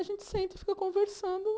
A gente senta e fica conversando.